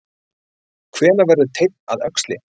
Hvenær verður teinn að öxli?